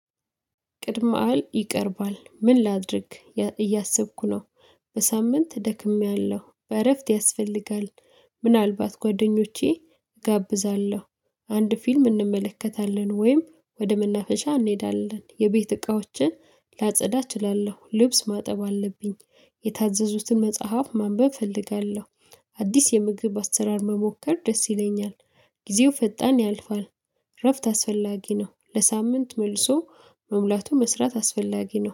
ቅድመ አል ይቀርባል ምን ላድርግ እያሰብኩ ነው በሳምንት ደክሜያለሁ በእረፍት ያስፈልጋል። ምናልባት ጓደኞቼ እጋብዛለሁ አንድ ፊልም እንመለከታለን ወይም ወደ መናፈሻ እንሄዳለን የቤት እቃዎችን ላጸዳ እችላለሁ ልብስ ማጠብ አለብኝ የታዘዙትን መጽሐፍ ማንበብ እፈልጋለሁ። አዲስ የምግብ አሰራር መሞከር ደስ ይለኛል ጊዜው ፈጣን ያልፋል እረፍት አስፈላጊ ነው ለሳምንት መልሶ መሙላቱ መስራት አስፈላጊ ነው።